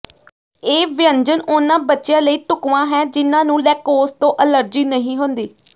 ਇਹ ਵਿਅੰਜਨ ਉਨ੍ਹਾਂ ਬੱਚਿਆਂ ਲਈ ਢੁਕਵਾਂ ਹੈ ਜਿਨ੍ਹਾਂ ਨੂੰ ਲੈਂਕੌਸ ਤੋਂ ਅਲਰਜੀ ਨਹੀਂ ਹੁੰਦੀ